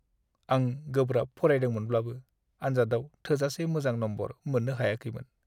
आं गोब्राब फरायदोंमोनब्लाबो, आनजादआव थोजासे मोजां नम्बर मोननो हायाखैमोन।